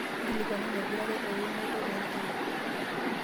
inkilikuanu naipirare euunoto oo ilkeek